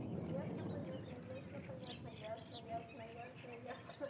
ясно понятно ясно понятно ясно ясно ясно ясно